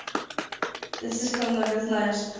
ты слишком много знаешь